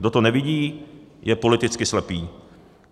Kdo to nevidí, je politicky slepý.